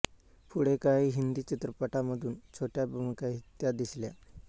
पुढे काही हिंदी चित्रपटांमधून छोट्या भूमिकांतही त्या दिसल्या